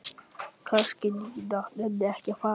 Kannski Nína nenni ekki að fara.